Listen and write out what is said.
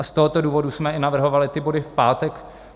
A z tohoto důvodu jsme i navrhovali ty body v pátek.